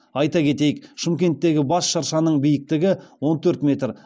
айта кетейік шымкенттегі бас шыршаның биіктігі он төрт метр